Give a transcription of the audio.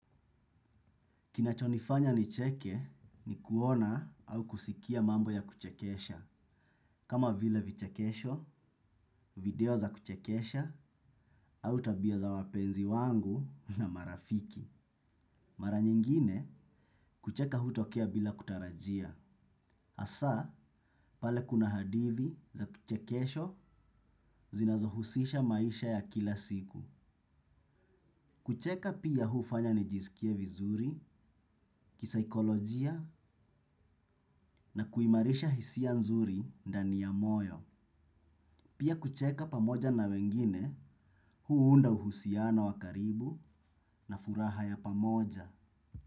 Kinachonifanya nicheke ni kuona au kusikia mambo ya kuchekesha, kama vile vichekesho, video za kuchekesha, au tabia za wapenzi wangu na marafiki. Mara nyingine, kucheka hutokea bila kutarajia. Asa, pale kuna hadithi za kuchekesho zinazohusisha maisha ya kila siku. Kucheka pia hufanya nijisikie vizuri, kisaikolojia na kuimarisha hisia nzuri dani ya moyo. Pia kucheka pamoja na wengine, huunda uhusiano wa karibu na furaha ya pamoja.